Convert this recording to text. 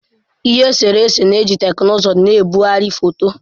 Ihe nkiri eserese na-eji teknụzụ na-ebugharị foto